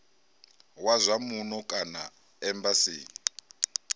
wa zwa muno kana embasini